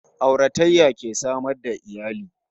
Auratayya ke samar da iyali